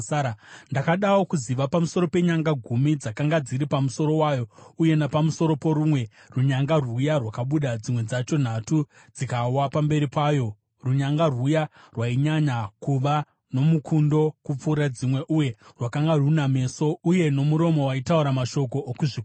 Ndakadawo kuziva pamusoro penyanga gumi dzakanga dziri pamusoro wayo uye napamusoro porumwe runyanga rwuya rwakabuda, dzimwe dzacho nhatu dzikawa pamberi payo, runyanga rwuya rwainyanya kuva nomukundo kupfuura dzimwe, uye rwakanga runa meso uye nomuromo waitaura mashoko okuzvikudza.